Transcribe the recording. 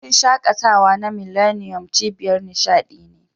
Wurin shaƙatawa na millennium, cibiyar nishadi ne.